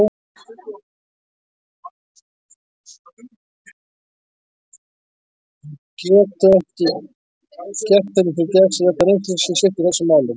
Hann getur ekki gert henni til geðs að játa reynsluleysi sitt í þessum málum.